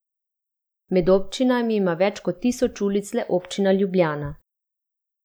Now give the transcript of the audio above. Med občinami ima več kot tisoč ulic le občina Ljubljana.